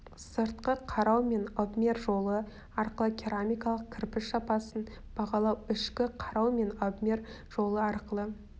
сыртқы қарау мен обмер жолы арқылы керамикалық кірпіш сапасын бағалау ішкі қарау мен обмер жолы арқылы